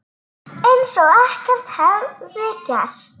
Eins og ekkert hefði gerst.